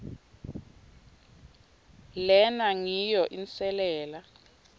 lena ngiyo inselela